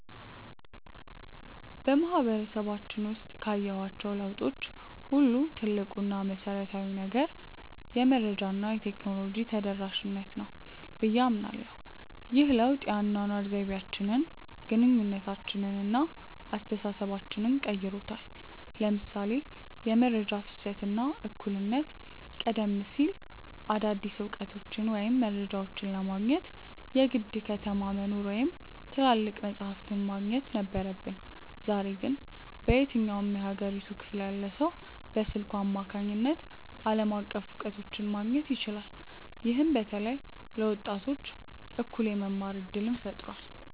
በማህበረሰባችን ውስጥ ካየኋቸው ለውጦች ሁሉ ትልቁ እና መሰረታዊው ነገር "የመረጃ እና የቴክኖሎጂ ተደራሽነት" ነው ብዬ አምናለሁ። ይህ ለውጥ የአኗኗር ዘይቤያችንን፣ ግንኙነታችንን እና አስተሳሰባችንን ቀይሮታል ለምሳሌ የመረጃ ፍሰት እና እኩልነት ቀደም ሲል አዳዲስ እውቀቶችን ወይም መረጃዎችን ለማግኘት የግድ ከተማ መኖር ወይም ትላልቅ መጻሕፍት ማግኘት ነበረብን። ዛሬ ግን በየትኛውም የሀገሪቱ ክፍል ያለ ሰው በስልኩ አማካኝነት ዓለም አቀፍ እውቀቶችን ማግኘት ይችላል። ይህም በተለይ ለወጣቶች እኩል የመማር እድልን ፈጥሯል።